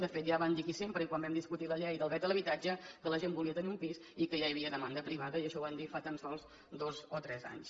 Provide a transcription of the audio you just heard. de fet ja van dir aquí sempre i quan vam discutir la llei del dret a l’habitatge que la gent volia tenir un pis i que ja hi havia demanda privada i això ho van dir fa tan sols dos o tres anys